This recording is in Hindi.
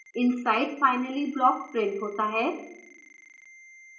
inside finally block printed होता है